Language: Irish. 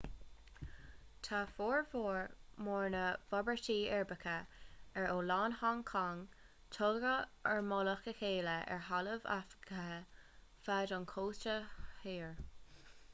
tá formhór mór na bhforbairtí uirbeacha ar oileán hong cong tógtha ar mhullach a chéile ar thalamh athghafa feadh an chósta thoir